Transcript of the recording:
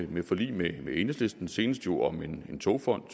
ved forlig med enhedslisten senest jo om en togfond